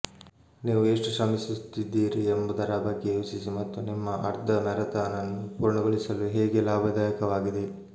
ನೀವು ಎಷ್ಟು ಶ್ರಮಿಸುತ್ತಿದ್ದೀರಿ ಎಂಬುದರ ಬಗ್ಗೆ ಯೋಚಿಸಿ ಮತ್ತು ನಿಮ್ಮ ಅರ್ಧ ಮ್ಯಾರಥಾನ್ ಅನ್ನು ಪೂರ್ಣಗೊಳಿಸಲು ಹೇಗೆ ಲಾಭದಾಯಕವಾಗಿದೆ